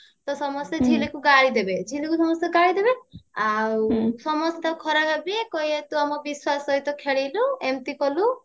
ତ ସମସ୍ତେ ଝିଲିକୁ ଗାଳି ଦେବେ ଝିଲିକୁ ସମସ୍ତେ ଗାଳି ଦେବେ ଆଉ ସମସ୍ତେ ତାକୁ ଖରାପ ଭାବିବେ କହିବେ ତୁ ଆମ ବିଶ୍ବାସ ସହିତ ଖେଳିଲୁ ଏମିତି କଲୁ